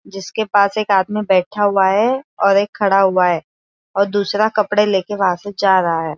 जिसके पास एक आदमी बैठा हुआ है और एक खड़ा हुआ है और दूसरा वंहा से कपडे लेके वहां से जा रहा है।